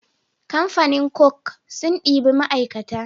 Kamfanin coke sun ɗebi ma aikata